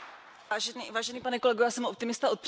Vážený pane kolego, já jsem optimista od přírody.